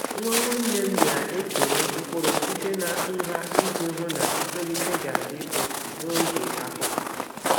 Nwa nwanne m na-ekewa mkpụrụ site na nha iji hụ na ntolite ga-adị otu n’oge akuku.